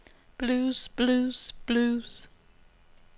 blues blues blues